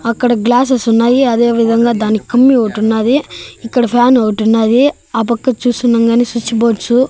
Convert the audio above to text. అక్కడ గ్లాసెస్ ఉన్నాయి అదేవిధంగా దాని కమ్మి ఒకటి ఉన్నది ఇక్కడ ఫ్యాన్ ఒకటి ఉన్నది ఆ పక్క చూస్తున్నాం గాని స్విచ్ బోర్డ్స్ .